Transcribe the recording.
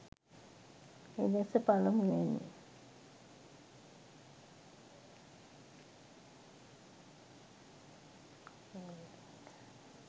එළෙස පළමුවැනි